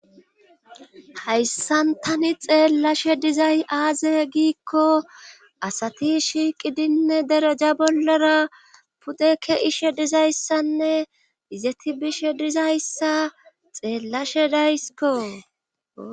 hayssantani xeellashe dizay aaze giikko asati shiiqidinne dereja bollara pudeke ishe dizayssanne izeti bishe dizayssa xeellashe daysiko